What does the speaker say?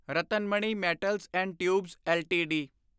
Ratnamani metals and tubes LTD